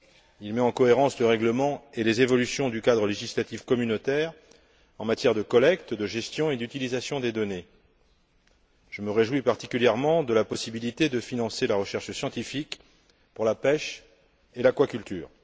Il met en cohérence le règlement et les évolutions du cadre législatif communautaire en matière de collecte, de gestion et d'utilisation des données. Je me réjouis particulièrement de la possibilité de financer la recherche scientifique pour la pêche et l'aquaculture.